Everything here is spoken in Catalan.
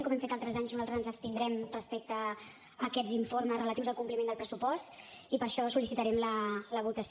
com hem fet altres anys nosaltres ens abstindrem respecte a aquests informes relatius al compliment del pressupost i per això en sol·licitarem la votació